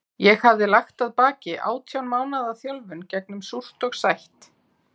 Ég hafði lagt að baki átján mánaða þjálfun gegnum súrt og sætt.